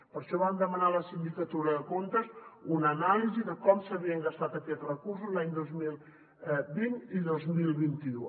per això vam demanar a la sindicatura de comptes una anàlisi de com s’havien gastat aquests recursos els anys dos mil vint i dos mil vint u